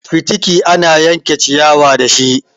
Fitiki ana yanke ciyawa ne dashi.